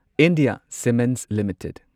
India cements limited